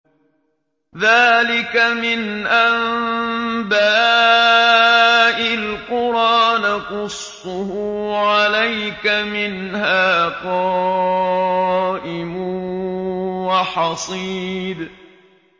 ذَٰلِكَ مِنْ أَنبَاءِ الْقُرَىٰ نَقُصُّهُ عَلَيْكَ ۖ مِنْهَا قَائِمٌ وَحَصِيدٌ